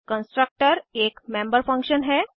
constructor एक member function है